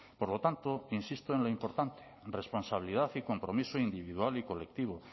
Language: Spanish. por lo tanto insisto en lo importante responsabilidad y compromiso individual y colectivo